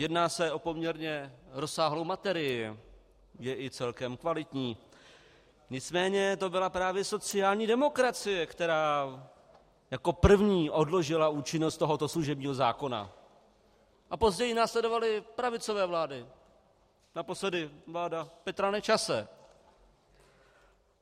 Jedná se o poměrně rozsáhlou materii, je i celkem kvalitní, nicméně to byla právě sociální demokracie, která jako první odložila účinnost tohoto služebního zákona, a později následovaly pravicové vlády, naposledy vláda Petra Nečase.